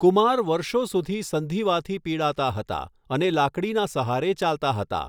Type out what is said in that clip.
કુમાર વર્ષો સુધી સંધિવાથી પીડાતા હતા, અને લાકડીના સહારે ચાલતા હતા.